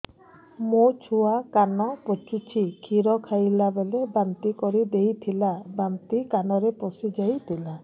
ମୋ ଛୁଆ କାନ ପଚୁଛି କ୍ଷୀର ଖାଇଲାବେଳେ ବାନ୍ତି କରି ଦେଇଥିଲା ବାନ୍ତି କାନରେ ପଶିଯାଇ ଥିଲା